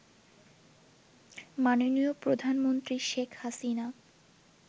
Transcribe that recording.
মাননীয় প্রধানমন্ত্রী শেখ হাসিনা